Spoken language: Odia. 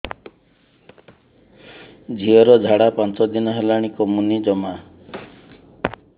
ଝିଅର ଝାଡା ପାଞ୍ଚ ଦିନ ହେଲାଣି କମୁନି ଜମା